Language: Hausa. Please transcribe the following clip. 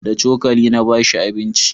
da cokali na bashi abinci